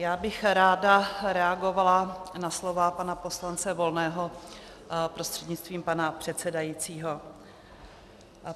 Já bych ráda reagovala na slova pana poslance Volného prostřednictvím pana předsedajícího.